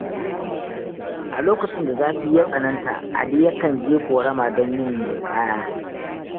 A lokacin da zafi ya tsananta, Ali yakan je ƙorama don yin ninƙaya.